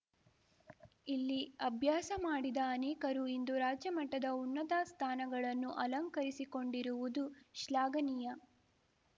ಇಲ್ಲಿ ಅಭ್ಯಾಸ ಮಾಡಿದ ಅನೇಕರು ಇಂದು ರಾಜ್ಯ ಮಟ್ಟದ ಉನ್ನತ ಸ್ಥಾನಗಳನ್ನು ಅಲಂಕರಿಸಿಕೊಂಡಿರುವುದು ಶ್ಲಾಘನೀಯ